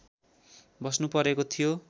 बस्नुपरेको थियो